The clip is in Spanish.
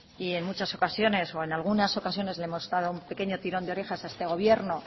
y en muchas ocasiones o en algunas ocasiones le hemos dado un pequeño tirón de orejas a este gobierno